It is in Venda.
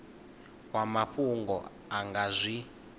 wa mafhungo a nga zwi